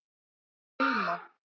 Hilma